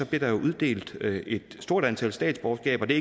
blev der uddelt et stort antal statsborgerskaber det